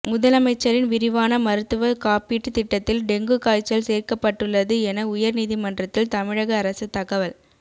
முதலமைச்சரின் விரிவான மருத்துவ காப்பீட்டு திட்டத்தில் டெங்கு காய்ச்சல் சேர்க்கப்பட்டுள்ளது என உயர் நீதிமன்றத்தில் தமிழக அரசு தகவல்